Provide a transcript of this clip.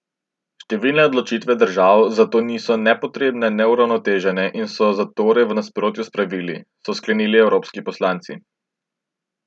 Številne odločitve držav za to niso ne potrebne ne uravnotežene in so zatorej v nasprotju s pravili, so sklenili evropski poslanci.